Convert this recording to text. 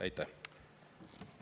Aitäh!